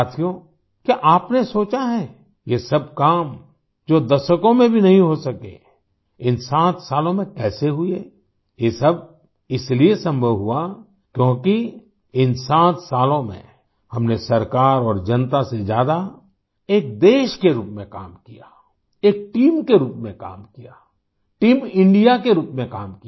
साथियोंक्या आपने सोचा है ये सब काम जो दशकों में भी नहीं हो सके इन 7 सालों में कैसे हुए ये सब इसीलिए संभव हुआ क्योंकि इन 7 सालों में हमने सरकार और जनता से ज्यादा एक देश के रूप में काम कियाएक टीम के रूप में काम कियाटीम Indiaके रूप में काम किया